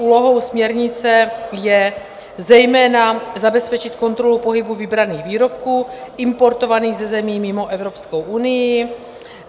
Úlohou směrnice je zejména zabezpečit kontrolu pohybu vybraných výrobků importovaných ze zemí mimo Evropskou unii.